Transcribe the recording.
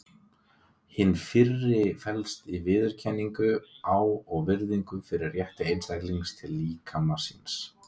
Hin fyrri felst í viðurkenningu á og virðingu fyrir rétti einstaklingsins til líkama síns.